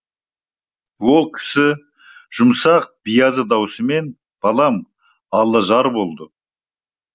ол кісі жұмсақ биязы даусымен балам алла жар болды